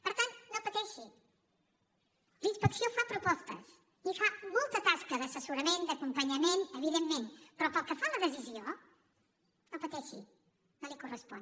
per tant no pateixi la inspecció fa propostes i fa molta tasca d’assessorament d’acompanyament evidentment però pel que fa a la decisió no pateixi no li correspon